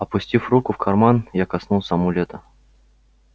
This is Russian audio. опустив руку в карман я коснулся амулета